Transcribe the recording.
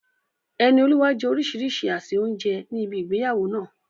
Enioluwa jẹ orísìírísìí àsè oúnjẹ ní ibi ìgbéyàwó náà.